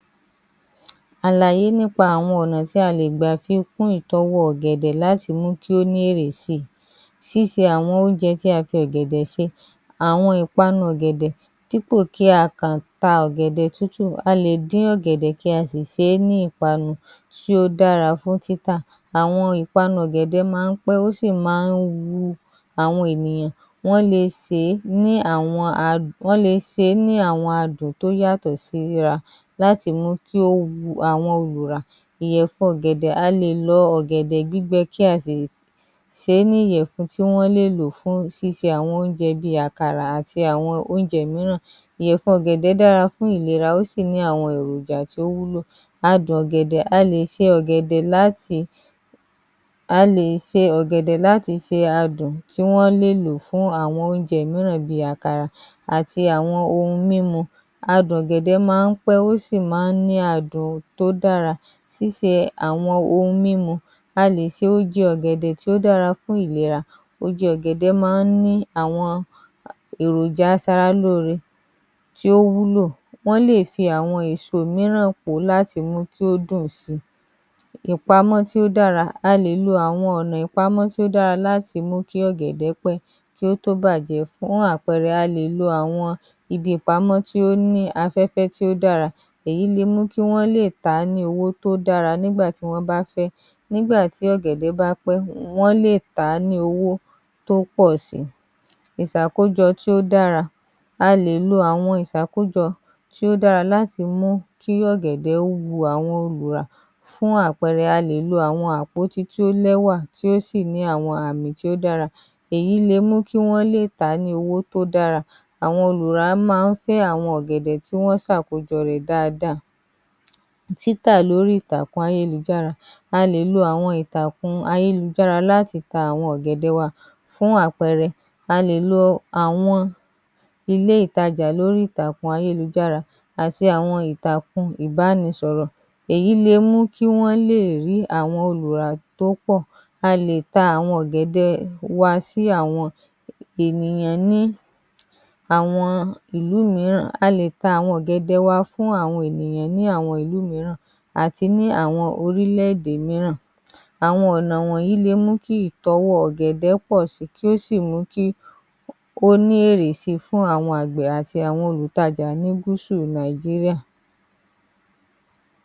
Alàyé nípa àwọn ọ̀nà tí a lè fi gbà pín ìtọ́wò ọ̀gẹ̀dẹ̀ láti mú kí ó ní ìdínkù, ṣíṣe àwọn oúnjẹ tí a fi ọ̀gẹ̀dẹ̀ ṣe, àwọn ìpanu ọ̀gẹ̀dẹ̀, dípò tí a kàn ta ọ̀gẹ̀dẹ̀ sísè, a lè dín ọ̀gẹ̀dẹ̀ kí a sì sé ní ìpanu, ó dára fún títà, àwọn ìpanu ọ̀gẹ̀dẹ̀ máa ń pẹ́, ó sì máa ń wu àwọn ènìyàn, wọ́n le sè é ní àwọn adùn tó yàtọ̀ síra láti mú kí ó wu àwọn olùra. Ìyẹ̀fun ọ̀gẹ̀dẹ̀ :a lè lọ ọ̀gẹ̀dẹ̀ gbígbẹ kí a sì ṣe é ní ìyẹ̀fun tí wọ́n lè lò fún ṣíṣe àwọn oúnjẹ bíi àkàrà àti àwọn oúnjẹ mìíràn, ìyẹ̀fun ọ̀gẹ̀dẹ̀ dára fún ìlera ó sì ní àwọn èròjà tó wúlò, adùn ọ̀gẹ̀dẹ̀, a lè ṣe ọ̀gẹ̀dẹ̀ láti fi adùn tí wọ́n lè lò fún àwọn oúnjẹ mìíràn bíi àkàrà àti àwọn ohun mímu, adùn ọ̀gẹ̀dẹ̀ máa ń pẹ́, ó sì máa ń ní adùn tó dára, síse àwọn ohun mímu, a lè ṣe oúnjẹ ọ̀gẹ̀dẹ̀ tó dára fún ìlera, oúnjẹ ọ̀gẹ̀dẹ̀ máa ń ní àwọn èròjà asara lóore tí ó wúlò, wọ́n lè fi àwọn èso mìíràn pò ó láti mú kí ó dùn sí i, ìpamọ́ tí ó dára :a lè lo ọ̀nà ìpamọ́ tó dára láti mú kí ọ̀gẹ̀dẹ̀ pẹ́ kí ó tó bàjẹ́, fún àpẹẹrẹ, a lè lo àwọn ibi ìpamọ́ tó ní afẹ́fẹ́ tó dára, èyí le mú kí Wọ́n lè ta á ní owó tó dára nígbà tí wọ́n bá fẹ́, nígbà tí ọ̀gẹ̀dẹ̀ bá pẹ́, wọ́n lè tà á ní owó tò pọ̀ sí í. ìsàkójọ tí ó dára :a lè lo àwọn ìsàkójọ tí ó dára láti mú kí ọ̀gẹ̀dẹ̀ wu àwọn olùrà fún àpẹẹrẹ, a lè lo àwọn àpótí tó lẹ́wà tí ó sì ní àwọn àpótí tó dára, èyí lè mú kí Wọ́n lè tà á ní owó tó dára, àwọn ìpanu ọ̀gẹ̀dẹ̀, dípò tí a kàn ta ọ̀gẹ̀dẹ̀ sísè, a lè dín ọ̀gẹ̀dẹ̀ kí a sì sé ní ìpanu, ó dára fún títà, àwọn ìpanu ọ̀gẹ̀dẹ̀ máa ń pẹ́, ó sì máa ń wu àwọn ènìyàn, wọ́n le sè é ní àwọn adùn tó yàtọ̀ síra láti mú kí ó wu àwọn olùra. Ìyẹ̀fun ọ̀gẹ̀dẹ̀ :a lè lọ ọ̀gẹ̀dẹ̀ gbígbẹ kí a sì ṣe é ní ìyẹ̀fun tí wọ́n lè lò fún ṣíṣe àwọn oúnjẹ bíi àkàrà àti àwọn oúnjẹ mìíràn, ìyẹ̀fun ọ̀gẹ̀dẹ̀ dára fún ìlera ó sì ní àwọn èròjà tó wúlò, adùn ọ̀gẹ̀dẹ̀, a lè ṣe ọ̀gẹ̀dẹ̀ láti fi adùn tí wọ́n lè lò fún àwọn oúnjẹ mìíràn bíi àkàrà àti àwọn ohun mímu, adùn ọ̀gẹ̀dẹ̀ máa ń pẹ́, ó sì máa ń ní adùn tó dára, síse àwọn ohun mímu, a lè ṣe oúnjẹ ọ̀gẹ̀dẹ̀ tó dára fún ìlera, oúnjẹ ọ̀gẹ̀dẹ̀ máa ń ní àwọn èròjà asara lóore tí ó wúlò, wọ́n lè fi àwọn èso mìíràn pò ó láti mú kí ó dùn sí i, ìpamọ́ tí ó dára :a lè lo ọ̀nà ìpamọ́ tó dára láti mú kí ọ̀gẹ̀dẹ̀ pẹ́ kí ó tó bàjẹ́, fún àpẹẹrẹ, a lè lo àwọn ibi ìpamọ́ tó ní afẹ́fẹ́ tó dára, èyí le mú kí Wọ́n lè ta á ní owó tó dára nígbà tí wọ́n bá fẹ́, nígbà tí ọ̀gẹ̀dẹ̀ bá pẹ́, wọ́n lè tà á ní owó tò pọ̀ sí í. ìsàkójọ tí ó dára :a lè lo àwọn ìsàkójọ tí ó dára láti mú kí ọ̀gẹ̀dẹ̀ wu àwọn olùrà fún àpẹẹrẹ, a lè lo àwọn àpótí tó lẹ́wà tí ó sì ní àwọn àpótí tó dára, èyí lè mú kí Wọ́n lè tà á ní owó tó dára, àwọn olùrà máa ń fẹ́ àwọn ọ̀gẹ̀dẹ̀ tí wọ́n sàkójọ rẹ dáadáa, títà lórí ìkànnì ayélujára a lè lo àwọn ìtàkùn ayélujára láti ta àwọn ọ̀gẹ̀dẹ̀ wa fún àpẹẹrẹ, a lè lo àwọn ilé ìtajà lórí ìtàkùn ayélujára àti àwọn ìtàkùn ìbánisọ̀rọ̀, èyí le mú kí Wọ́n lè rí àwọn olùrà tó pọ̀, a lè ta àwọn ọ̀gẹ̀dẹ̀ wa sí àwọn ìlú mìíràn, a lè ta àwọn ènìyàn ní ìlú mìíràn àti ní àwọn orílẹ̀ èdè mìíràn, àwọn ọ̀nà wọ̀nyí le mú kí ìtọ́wò ọ̀gẹ̀dẹ̀ pọ̀ sí i kí ó sì mú kí ó ní ìrètí fún àwọn àgbẹ̀, àti àwọn olùtajà ní gúúsù Nàìjíríà.